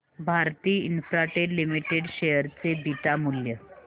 Bharti Infratel limited share चे beta मूल्य